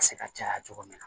Se ka caya cogo min na